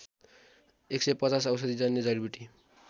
१५० औषधिजन्य जडिबुटी